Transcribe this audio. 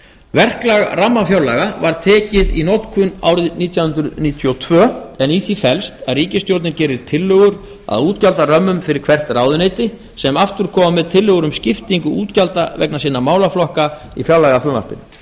verklag rammafjárlaga var tekið í notkun árið nítján hundruð níutíu og tvö en í því felst að ríkisstjórnin gerir tillögur að útgjaldarömmum fyrir hvert ráðuneyti sem aftur koma með tillögur um skiptingu útgjalda vegna sinna málaflokka í fjárlagafrumvarpinu